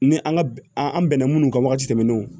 Ni an ka an an bɛnna minnu kan wagati tɛmɛnenw